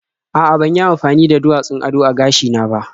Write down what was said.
A'a, ban yi amafani da duwatsun ado a gashina ba.